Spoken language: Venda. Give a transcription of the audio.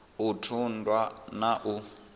u ṱun ḓwa na u